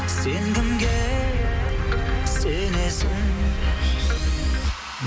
сен кімге сенесің